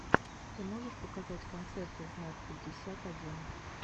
ты можешь показать концерты знат пятьдесят один